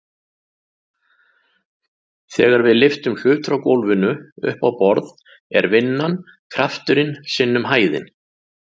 Þegar við lyftum hlut frá gólfinu upp á borð er vinnan krafturinn sinnum hæðin.